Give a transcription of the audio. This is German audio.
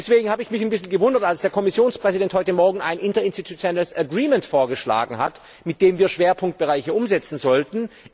Deswegen habe ich mich ein bisschen gewundert, als der Kommissionspräsident heute Morgen ein interinstitutionelles Agreement vorgeschlagen hat, mit dem wir Schwerpunktbereiche umsetzen sollten.